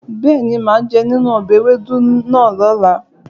Bẹ́ẹ̀ni, màá jẹ nínú ọbẹ̀ ewédú náà lọ́la